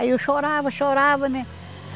Aí eu chorava, chorava, né?